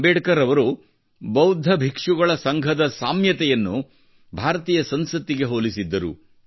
ಅಂಬೇಡ್ಕರ್ ಅವರು ಬೌದ್ಧ ಭಿಕ್ಷುಗಳ ಸಂಘದ ಸಾಮ್ಯತೆಯನ್ನು ಭಾರತೀಯ ಸಂಸತ್ತಿಗೆ ಹೋಲಿಸಿದ್ದರು